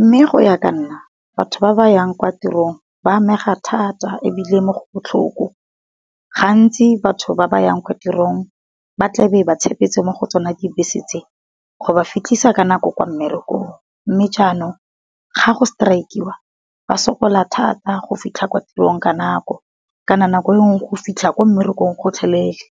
Mme go ya ka nna batho ba ba yang kwa tirong ba amega thata ebile mo go botlhoko, gantsi batho ba ba yang kwa tirong ba tlabe ba tshepetse mo go tsona di bese tse, go ba fitlhisa ka nako kwa mmerekong. Mme jaanong ga go strike-iwa ba sokola thata go fitlha kwa tirong ka nako kana nako e nngwe go fitlha ko mmerekong gotlhelele.